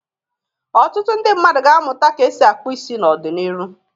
Otụtụ ndị mmadụ ga-amụta ka esi akpụ isi n'ọdị n'iru.